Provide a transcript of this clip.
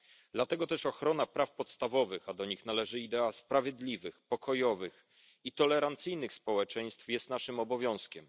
Dlatego też ochrona praw podstawowych, a do nich należy idea sprawiedliwych, pokojowych i tolerancyjnych społeczeństw, jest naszym obowiązkiem.